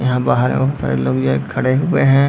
यहाँ बाहर में बहुत सारे लोग जो है खड़े हुए हैं ।